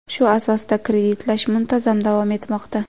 Shu asosda kreditlash muntazam davom etmoqda.